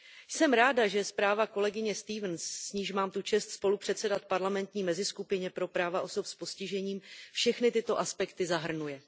Jsem ráda, že zpráva kolegyně Stevensové, s níž mám tu čest spolupředsedat v parlamentní meziskupině pro práva osob s postižením, všechny tyto aspekty zahrnuje.